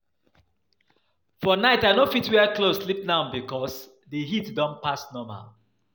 For night I no fit wear cloth sleep now because the heat don pass normal